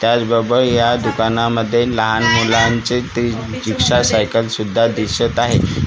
त्याचबरोबर या दुकानामध्ये लहान मुलांचे ते रिक्षा सायकल सुद्धा दिसत आहे.